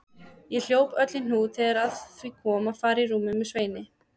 Ég hljóp öll í hnút þegar að því kom að fara í rúmið með Sveini.